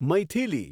Maithili